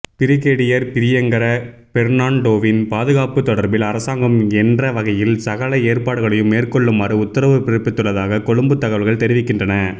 brigadier Priyankara பெர்ணான்டோவின் பாதுகாப்பு தொடர்பில் அரசாங்கம் என்றவகையில் சகல ஏற்பாடுகளையும் மேற்கொள்ளுமாறு உத்தரவு பிறப்பித்துள்ளதாக கொழும்புத் தகவல்கள் தெரிவிக்கின்றன